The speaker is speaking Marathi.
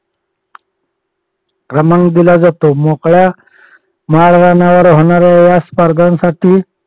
क्रमांक दिला जातो. मोकळ्या माळरानावर होणाऱ्या या स्पर्धासाठी